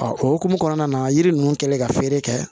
o hokumu kɔnɔna na yiri ninnu kɛlen ka feere kɛ